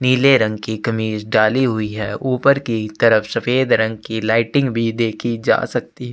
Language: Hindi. नीले रंग की कमीज डाली हुई है ऊपर की तरफ सफ़ेद रंग की लाइटिंग भी देखी जा सकती है।